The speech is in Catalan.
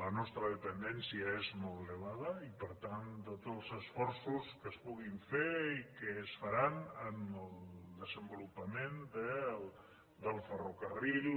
la nostra dependència és molt elevada i per tant tots els esforços que es puguin fer i que es faran en el desenvolupament del ferrocarril